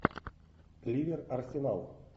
ливер арсенал